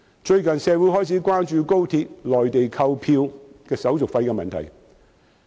最近，社會開始關注高鐵在內地購票的手續費問題。